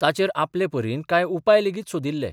ताचेर आपले परीन काय उपाय लेगीत सोदिल्ले.